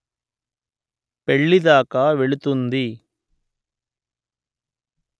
పెళ్ళి దాకా వెళుతుంది